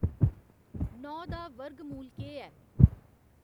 नौ दा वर्गमूल केह् ऐ